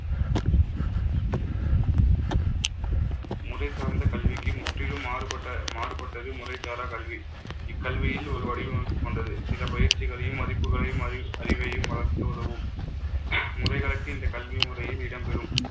முறை சார்ந்த கல்விக்கு முற்றிலும் மாறுபட்ட~ மாறுபட்டது முறைசாரா கல்வி. இக்கல்வியில் ஒரு வடிவமைப்பு கொண்டது. சில பயிற்சிகளையும், மதிப்புகளையும் அறி~ அறிவையும் வளர்க்க உதவும். முறைகளுக்கு இந்த கல்வி முறையும் இடம்பெறும்